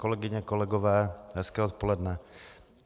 Kolegyně, kolegové, hezké odpoledne.